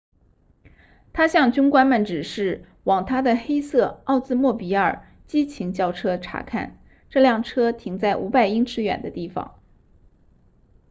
她向军官们指示往她的黑色奥兹莫比尔激情轿车查看这辆车停在500英尺远的地方